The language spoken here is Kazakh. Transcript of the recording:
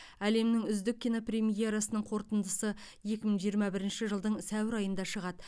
әлемнің үздік кинопремьерасының қорытындысы екі мың жиырма бірінші жылдың сәуір айында шығады